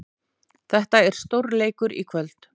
Þetta er stórleikur í kvöld.